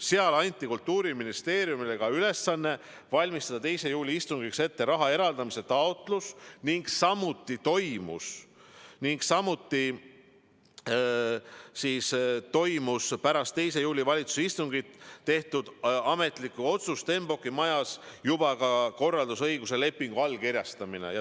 Seal anti Kultuuriministeeriumile ülesanne valmistada 2. juuli istungiks ette raha eraldamise taotlus ning pärast 2. juuli valitsuse istungit tehtud ametlikku otsust toimus Stenbocki majas juba ka korraldusõiguse lepingu allkirjastamine.